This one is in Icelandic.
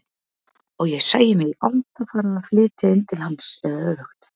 Og ég sæi mig í anda fara að flytja inn til hans eða öfugt.